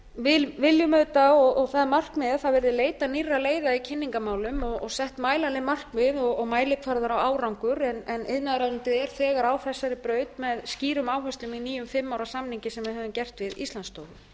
við viljum auðvitað og það er markmiðið að það verði leitað nýrra leiða í kynningarmálum og sett mælanleg markmið og mælikvarðar á árangur en iðnaðaðarráðuneytið er þegar á þessari braut með skýrum áherslum í nýjum fimm ára samningi sem við höfum gert